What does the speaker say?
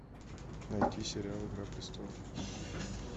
найти сериал игра престолов